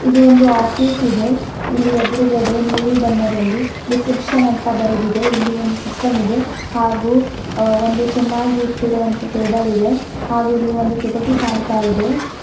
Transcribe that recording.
ಇದು ಒಂದು ಆಫೀಸ್ ಇದೆ ಇಲ್ಲಿ ಎದ್ರುಗಡೆ ನೀಲಿ ಬಣ್ಣದಲ್ಲಿ ರಿಸೆಪ್ಶನ್ ಅಂತ ಬರೆದಿದೆ ಇಲ್ಲಿ ಒಂದು ಸಿಸ್ಟಮ್ ಇದೆ ಹಾಗು ಅ ಒಂದು ಚೆನ್ನಾಗಿ ಇಟ್ಟಿರುವಂತೆ ಟೇಬಲ್ ಇದೆ ಹಾಗೆ ಇಲ್ಲಿ ಒಂದು ಕಿಟಕಿ ಕಾಣ್ತಾಇದೆ.